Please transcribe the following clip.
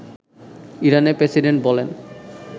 ইরানের প্রেসিডেন্ট বলেন